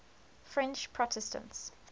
french protestants